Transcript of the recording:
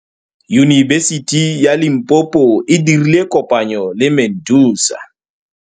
Yunibesiti ya Limpopo e dirile kopanyô le MEDUNSA.